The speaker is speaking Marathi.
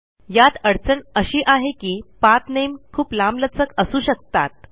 यात अडचण अशी आहे की पाठ नामे खूप लांबलचक असू शकतात